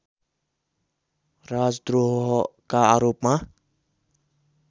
राजद्रोहका आरोपमा